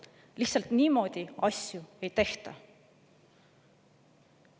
Lihtsalt niimoodi asju ei tehta.